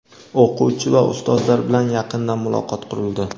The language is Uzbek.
O‘quvchi va Ustozlar bilan yaqindan muloqot qurildi.